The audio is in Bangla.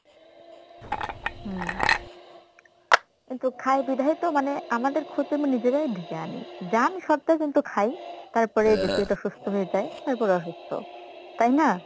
হম কিন্তু খাই বিধাইতো মানে আমাদের ক্ষতি আমরা নিজেরাই ডেকে আনি জান শর্তেও কিন্তু খাই তারপরে এই যে পেট অসুস্থ হয়ে যায় তারপরে অসুস্থ তাই না?